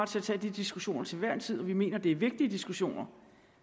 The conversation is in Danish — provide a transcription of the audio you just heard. til at tage de diskussioner til hver en tid og vi mener det er vigtige diskussioner